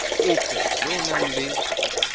ope yo o nang le